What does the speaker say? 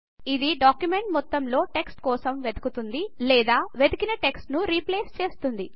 ఇది డాక్యుమెంట్ మొత్తంలోటెక్స్ట్ కోసం వెతుకుతుంది లేదా వెతికిటెక్స్ట్ ను రీప్లేస్ చేస్తుంది